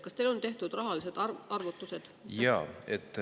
Kas teil on tehtud rahalised arvutused?